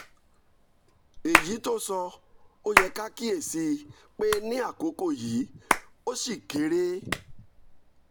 èyí tó sọ ó yẹ ká kíyè sí i pé ní àkókò yìí ó ṣì kéré